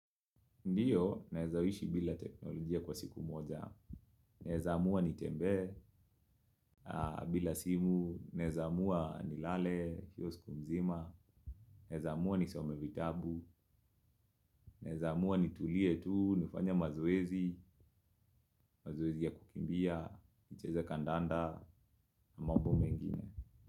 Ndiyo, naeza ishi bila teknolojia kwa siku moja. Naeza amua nitembe, bila simu, naeza amua nilale, kwa siku mzima, naeza amua nisome vitabu, naeza amua nitulie tu, nifanye mazoezi, mazoezi ya kukimbia, nicheze kandanda, mambo mengine.